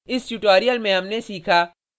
इस tutorial में हमने सीखा